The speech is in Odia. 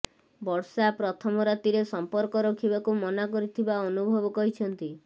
ବର୍ଷା ପ୍ରଥମ ରାତିରେ ସମ୍ପର୍କ ରଖିବାକୁ ମନା କରିଥିବା ଅନୁଭବ କହିଛନ୍ତି